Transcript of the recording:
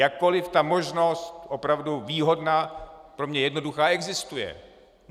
Jakkoli ta možnost opravdu výhodná, pro mě jednoduchá, existuje.